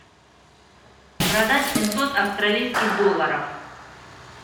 продать семьсот австралийских долларов